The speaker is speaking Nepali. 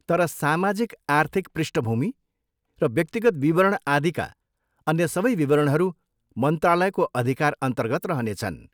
तर सामाजिक आर्थिक पृष्ठभूमि र व्यक्तिगत विवरण आदिका अन्य सबै विवरणहरू मन्त्रालयको अधिकारअन्तर्गत रहनेछन्।